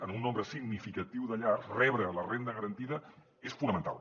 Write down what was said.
en un nombre significatiu de llars rebre la renda garantida és fonamental